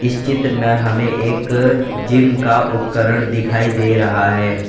इस चित्र में हमें एक जिम का उपकरण दिखाई दे रहा है।